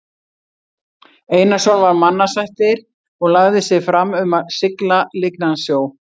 Einarsson var mannasættir og lagði sig fram um að sigla lygnan sjó.